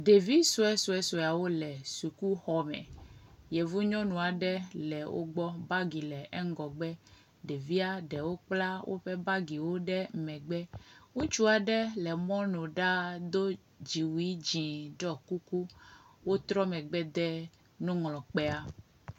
Ɖevi suesuesueawo le sukuxɔme. Yevu nyɔnu aɖe le wo gbɔ. Bagi le eŋgɔgbe. Ɖevia ɖewo kpla woɔe bagiwo ɖe megbe. Ŋutsua ɖe le mɔnu ɖaa do dziwui dzi ɖɔ kuku wotrɔ megbe de nuŋlɔkpea.